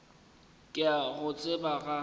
ke a go tseba ga